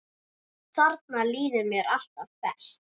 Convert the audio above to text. Þarna líður mér alltaf best.